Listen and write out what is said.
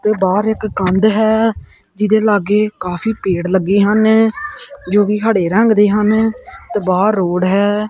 ਤੇ ਬਾਹਰ ਇੱਕ ਕੰਧ ਹੈ ਜਿਹਦੇ ਲਾਗੇ ਕਾਫੀ ਪੇੜ ਲੱਗੇ ਹਨ ਜੋ ਕਿ ਹੜੇ ਰੰਗ ਦੇ ਹਨ ਤੇ ਬਾਹਰ ਰੋਡ ਹੈ।